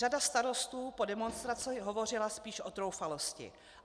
Řada starostů po demonstraci hovořila spíš o troufalosti.